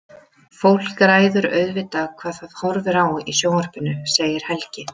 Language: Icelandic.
Fólk ræður auðvitað hvað það horfir á í sjónvarpinu, segir Helgi.